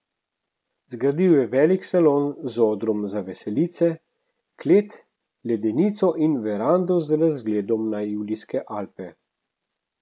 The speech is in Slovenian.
Zgradil je velik salon z odrom za veselice, klet, ledenico in verando z razgledom na Julijske Alpe.